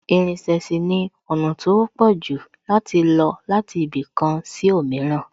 Ìrìnsẹ̀ sì ni ọ̀nà tó wọ́pọ̀ jù láti lọ láti ibì kan sí òmíràn